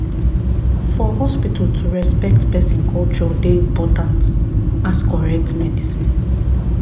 for hospital to respect person culture dey important as correct medicine.